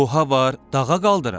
Oha var, dağa qaldırar.